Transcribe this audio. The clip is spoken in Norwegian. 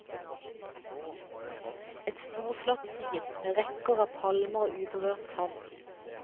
Et storslått syn, med rekker av palmer og uberørt sand.